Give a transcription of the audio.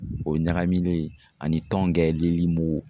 O ye ɲagaminen ani tɔnkɛlili muku.